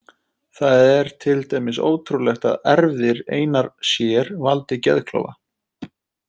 Það er til dæmis ótrúlegt að erfðir einar sér valdi geðklofa.